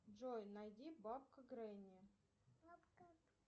джой найди бабка гренни